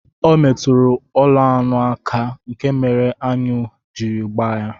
Ọ metụrụ ụlọ̣anụ aka, nke mere aṅụ jiri gbaa ya